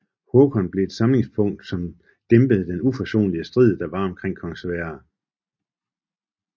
Håkon blev et samlingspunkt som dæmpede den uforsonlige strid der var omkring kong Sverre